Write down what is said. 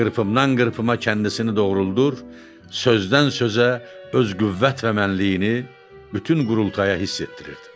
Qırpımdan qırpıma kəndisini doğruldur, sözdən-sözə öz qüvvət və mənliyini bütün qurultaya hiss etdirirdi.